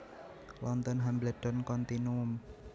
London Hambledon Continuum